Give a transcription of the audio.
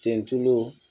Ten tulu